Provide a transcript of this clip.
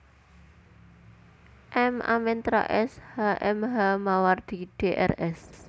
M Amien Rais H M H Mawardi Drs